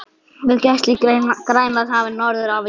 við gæslu í Grænlandshafi norður af Íslandi.